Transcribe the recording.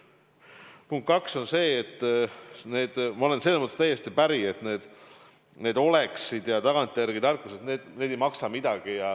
Punkt kaks on see, ma olen sellega täiesti päri, et "oleksid" ja tagantjärele tarkused ei maksa midagi.